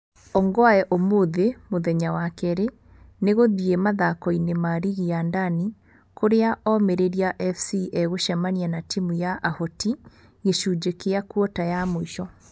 Ongwae ũmũthĩ(mũthenya wa kerĩ) nĩ gũthiĩ mathako-inĩ ma rigi ya Ndani, kũrĩa Omĩrĩria FC ĩgũcemania na timu ya Ahoti gĩcunjĩ kĩa kuota ya mũico.